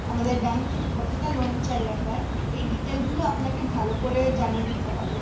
আমাদের bank থেকে কতোটা loan চাই আপনার এই detail গুলো আপনাকে ভালো করে জানিয়ে দিতে হবে